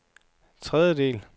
tredjedel